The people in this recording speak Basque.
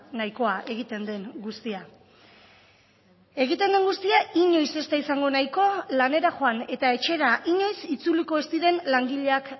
nahikoa egiten den guztia egiten den guztia inoiz ez da izango nahikoa lanera joan eta etxera inoiz itzuliko ez diren langileak